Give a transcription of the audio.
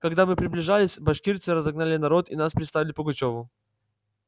когда мы приближились башкирцы разогнали народ и нас представили пугачёву